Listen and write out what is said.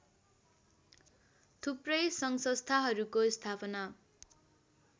थुप्रै सङ्घसंस्थाहरूको स्थापना